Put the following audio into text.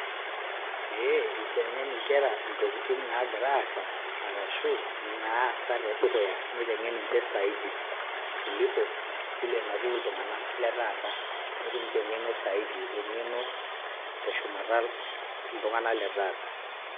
Pee iteng'en inkera ntokitin naagira aasa arashu naasa tedukuya niteng'en nje zaidi kuliko vile natiu iltung'anak le taata. Netum ninje eng'eno zaidi eng'eno te shumata iltung'anak le taata.